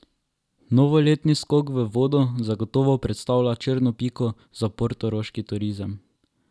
Novoletni skok v vodo zagotovo predstavlja črno piko za portoroški turizem.